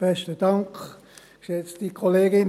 Kommissionssprecher der SiK-Mehrheit.